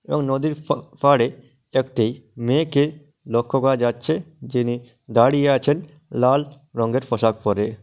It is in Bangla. এবং নদীর ফা পাড়ে একটি মেয়েকে লক্ষ্য করা যাচ্ছে। যিনি দাঁড়িয়ে আছেন লাল রঙের পোশাক পরে।